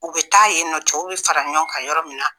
U bɛ taa yen nɔ, c ɛw bɛ fara ɲɔgɔn kan yɔrɔ min na.